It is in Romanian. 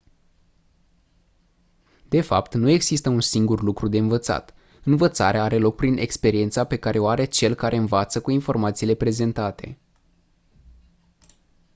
de fapt nu există un singur lucru de învățat învățarea are loc prin experiența pe care o are cel care învață cu informațiile prezentate